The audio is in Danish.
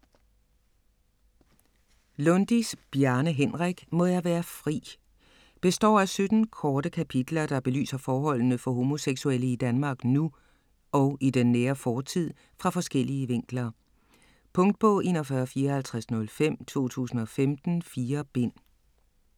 Lundis, Bjarne Henrik: Må jeg være fri Består af 17 korte kapitler der belyser forholdene for homoseksuelle i Danmark nu og i den nære fortid fra forskellige vinkler. Punktbog 415405 2015. 4 bind.